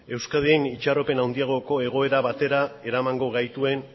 euskadin itxaropen handiagoko egoera batera eramango gaituen